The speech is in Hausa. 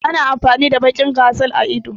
Ana amfani da baƙin gazal a ido